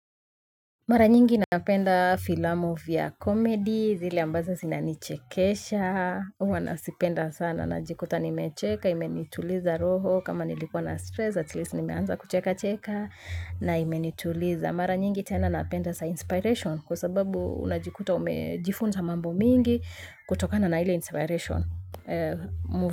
Mara nyingi napenda filamu vya comedy zile ambazo zinanichekesha huwa nazipenda sana najikuta nimechekaa imenituliza roho kama nilikuwa na stress atleast nimeanza kucheka cheka na imenituliza mara nyingi sana napenda za inspiration kwa sababu unajikuta umejifunza mambo mingi kutokana na ile inspiration mu.